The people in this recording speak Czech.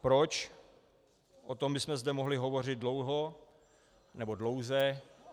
Proč, o tom bychom zde mohli hovořit dlouho, nebo dlouze.